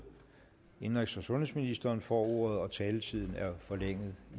indenrigs og sundhedsministeren får ordet og taletiden er forlænget